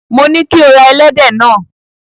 Mo ní kí o ra ẹlẹ́dẹ̀ náà.